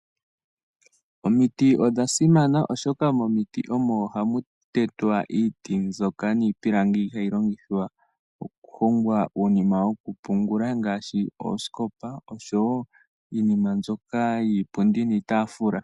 Omiti odhasimana oshoka momiti omo hamu tetwa iiti mbyoka niipilangi hayi longithwa oku hongwa uunima wokupungula ngaashi oosikopa oshowo iinima mbyoka yiipundi niitaafula.